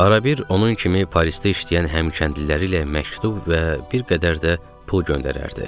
Arabir onun kimi Parisdə işləyən həm kəndliləri ilə məktub və bir qədər də pul göndərərdi.